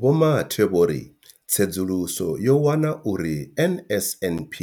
Vho Mathe vho ri tsedzuluso yo wana uri NSNP